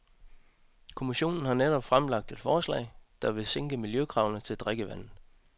Kommissionen har netop fremlagt et forslag, der vil sænke miljøkravene til drikkevand.